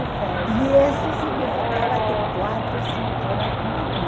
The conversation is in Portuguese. de festa. E isso significava até quatro, cinco horas da manhã.